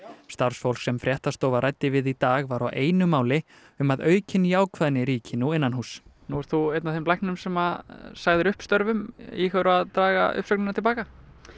starfsfólk sem fréttastofa ræddi við í dag var á einu máli um að aukin jákvæðni ríki nú innanhúss nú ert þú einn af þeim læknum sem sögðu upp störfum íhugarðu að draga uppsögnina til baka